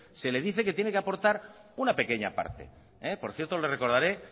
se le dice que tiene que aportar una pequeña parte por cierto le recordaré